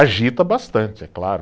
Agita bastante, é claro.